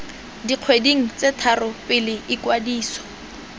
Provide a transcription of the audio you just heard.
dikgweding tse tharo pele ikwadiso